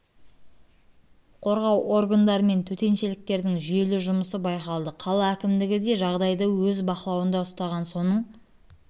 қорғау органдары мен төтеншеліктердің жүйелі жұмысы байқалды қала әкімдігі де жағдайды өз бақылауында ұстаған соның